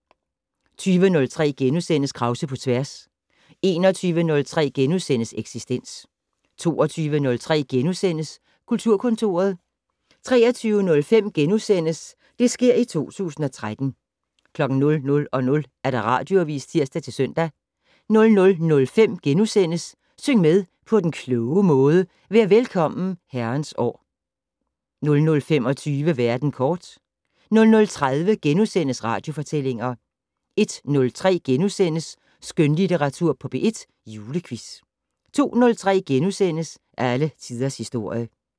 20:03: Krause på tværs * 21:03: Eksistens * 22:03: Kulturkontoret * 23:05: Det sker i 2013 * 00:00: Radioavis (tir-søn) 00:05: Syng med på den kloge måde: Vær Velkommen, Herrens År * 00:25: Verden kort 00:30: Radiofortællinger * 01:03: Skønlitteratur på P1 - Julequiz * 02:03: Alle Tiders Historie *